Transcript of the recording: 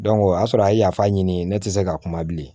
o y'a sɔrɔ a ye yafa ɲini ne tɛ se ka kuma bilen